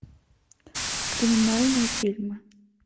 криминальные фильмы